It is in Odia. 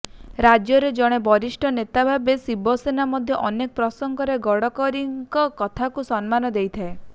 ରାଜ୍ୟର ଜଣେ ବରିଷ୍ଠ ନେତା ଭାବେ ଶିବସେନା ମଧ୍ୟ ଅନେକ ପ୍ରସଙ୍ଗରେ ଗଡ଼କରୀଙ୍କ କଥାକୁ ସମ୍ମାନ ଦେଇଥାଏ